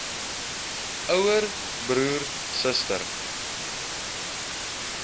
ouer broer suster